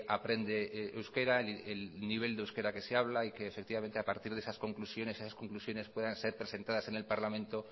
aprende euskera el nivel de euskera que se habla y que efectivamente a partir de esas conclusiones esas conclusiones puedan ser presentadas en el parlamento